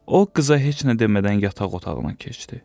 O qıza heç nə demədən yataq otağına keçdi.